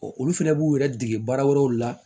olu fɛnɛ b'u yɛrɛ dege baara wɛrɛw la